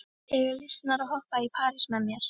Eiga lýsnar að hoppa í parís með þér?